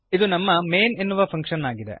ಇದು ನಮ್ಮ ಮೈನ್ ಎನ್ನುವ ಫಂಕ್ಶನ್ ಆಗಿದೆ